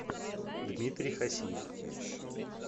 дмитрий хасиев